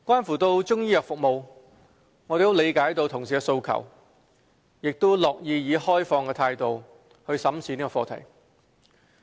至於中醫藥服務，我們理解同事的訴求，亦樂意以開放態度審視這個課題。